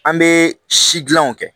An bɛ si dilanw kɛ